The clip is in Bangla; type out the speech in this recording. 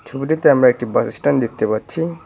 ছবিটিতে আমরা একটি বাসস্ট্যান্ড দেখতে পাচ্ছি।